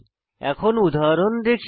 এখন উদাহরণ দেখি